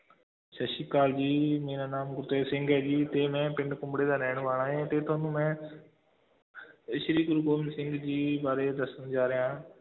ਸਤਿ ਸ੍ਰੀ ਅਕਾਲ ਜੀ, ਮੇਰਾ ਨਾਮ ਗੁਰਤੇਜ ਸਿੰਘ ਹੈ ਜੀ ਤੇ ਮੈਂ ਪਿੰਡ ਕੁੰਬੜੇ ਦਾ ਰਹਿਣ ਵਾਲਾ ਹੈ ਤੇ ਤੁਹਾਨੂੰ ਮੈਂ ਅਹ ਸ੍ਰੀ ਗੁਰੂ ਗੋਬਿੰਦ ਸਿੰਘ ਜੀ ਬਾਰੇ ਦੱਸਣ ਜਾ ਰਿਹਾ ਹਾਂ।